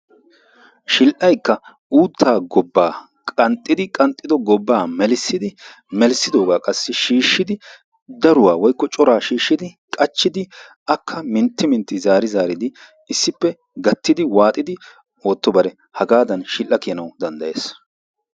Shidhdhaykka uuttaa gobbaa qanxxidi qanxxido gobbaa melissidi melissidoogaa qassi shiishshidi daruwa woykko coraa shiishshidi qachchidi akka mintti mintti zaari zaaridi issippe gattidi waaxidi ootto bare hagaadan shidhdha kiyanawu danddayes.